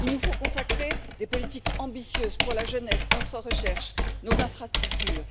Il nous faut consacrer des politiques ambitieuses pour la jeunesse, notre recherche, nos infrastructures.